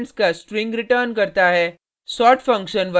ये जुडे हुए एलिमेंट्स का स्ट्रिंग रिटर्न करता है